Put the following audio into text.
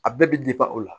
A bɛɛ bɛ o la